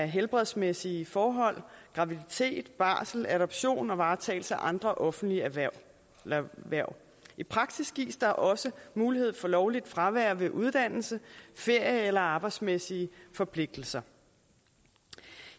helbredsmæssige forhold graviditet barsel adoption og varetagelse af andre offentlige hverv hverv i praksis gives der også mulighed for lovligt fravær ved uddannelse ferie eller arbejdsmæssige forpligtelser